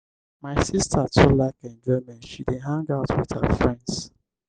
my sista too like enjoyment she dey hang out wit her friends.